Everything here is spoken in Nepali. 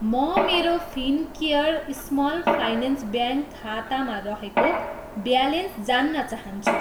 म मेरो फिनकेयर स्मल फाइनेन्स ब्याङ्क खातामा रहेको ब्यालेन्स जान्न चाहन्छु।